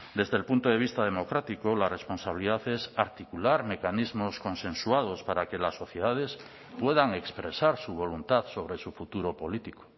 desde el punto de vista democrático la responsabilidad es articular mecanismos consensuados para que las sociedades puedan expresar su voluntad sobre su futuro político